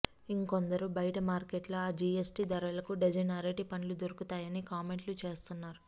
ఇంకొందరు బయట మార్కెట్లో ఆ జీఎస్టీ ధరలకు డజను అరటి పండ్లు దొరుకుతాయని కామెంట్లు చేస్తున్నారు